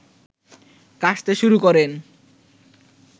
কাশতে শুরু করেন